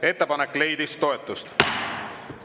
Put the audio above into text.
Ettepanek leidis toetust.